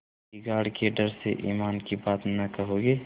बिगाड़ के डर से ईमान की बात न कहोगे